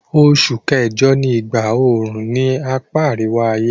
Osù kẹ́jọ ni ìgbà oru ni apá àríwá-ayé